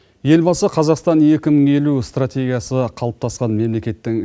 елбасы қазақстан екі мың елу стратегиясы қалыптасқан мемлекеттің